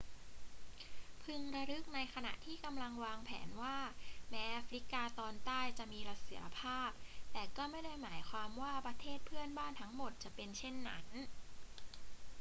พึงระลึกในขณะที่กำลังวางแผนว่าแม้แอฟริกาตอนใต้จะมีเสถียรภาพ แต่ก็ไม่ได้หมายความว่าประเทศเพื่อนบ้านทั้งหมดจะเป็นเช่นนั้น